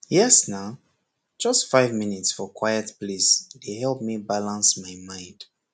yes na just five minutes for quiet place dey help me balance my mind